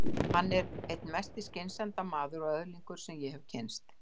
Hann er einn mesti skynsemdarmaður og öðlingur sem ég hef kynnst.